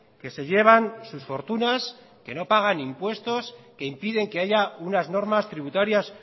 que se llevan sus fortunas que no pagan impuestos que impiden que haya unas normas tributarias